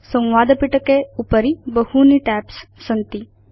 संवादपिटके उपरि बहूनि टैब्स् सन्ति